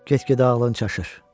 Keç gədə ağlın çaşır.